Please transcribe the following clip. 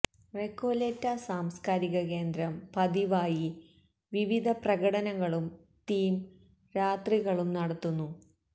Recoleta സാംസ്കാരിക കേന്ദ്രം പതിവായി വിവിധ പ്രകടനങ്ങളും തീം രാത്രികളും നടത്തുന്നു